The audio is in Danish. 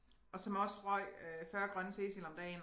Og som også røg øh 40 Grønne Cecil om dagen